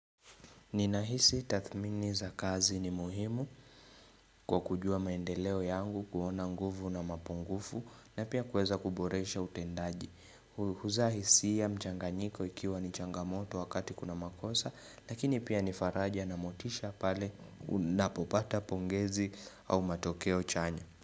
Ninahisi tathmini za kazi ni muhimu kwa kujua maendeleo yangu kuona nguvu na mapungufu na pia kuweza kuboresha utendaji. Huzaa hisia mchanganyiko ikiwa ni changamoto wakati kuna makosa lakini pia nifaraja na motisha pale unapopata pongezi au matokeo chanya.